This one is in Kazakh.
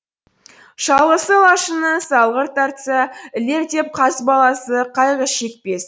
шалғысы лашынның салғырт тартса ілер деп қаз баласы қайғы шекпес